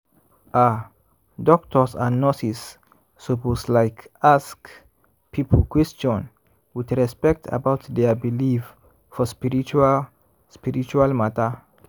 ah! doctors and nurses lsuppose like ask people question with respect about dia believe for spiritual spiritual matter.